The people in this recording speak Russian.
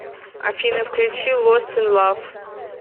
афина включи лост ин лав